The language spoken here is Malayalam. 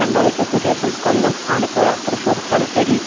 രണ്ടാഴ്ചക്കു ശേഷം കൊല്ലം ആലപ്പുഴ തൃശൂർ തലശ്ശേരി